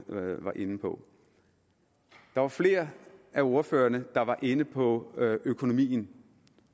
var inde på der var flere af ordførerne der var inde på økonomien